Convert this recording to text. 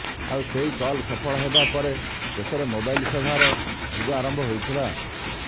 ଆଉ ସେହି କଲ ସଫଳ ହେବା ପରେ ଦେଶରେ ମୋବାଇଲ ସେବାର ଯୁଗ ଆରମ୍ଭ ହୋଇଥିଲା